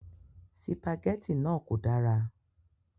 Sìpàgẹ́tì náà kò dára.